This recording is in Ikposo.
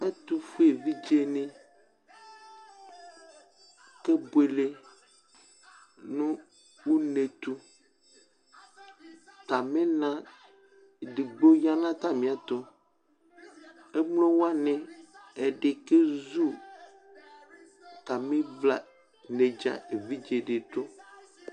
Ɛtʋfue evidzenɩ kebuele une tʋ Atamɩna edigbo ya nʋ atamɩɛtʋ Emlo wanɩ, ɛdɩ kezu atamɩvla nedzǝ evidze dɩ dʋ